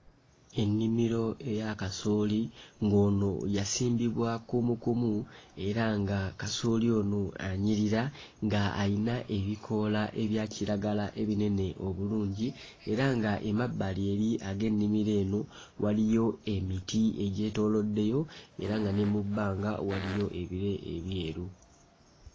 Ennimiro eya kasooli ng'ono yasimbibwa kumukumu era nga kasooli ono anyirira nga ayina ebikoola ebya kiragala ebinene obulungi era nga emabbali eri ag'ennimiro eno waliyo emiti egyetooloddeyo era nga ne mu bbanga waliyo ebire ebyeru.